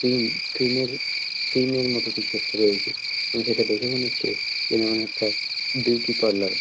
Cream cream -এর cream -এর মতো কিছু একটা রয়েছে এবং যেটা দেখে মনে হচ্ছে এমন একটা বিউটি পার্লার ।